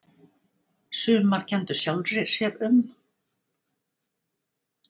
Sumar kenndu sjálfri sér um